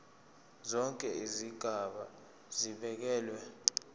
zonke izigaba zibekelwe